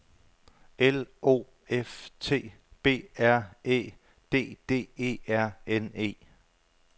L O F T B R Æ D D E R N E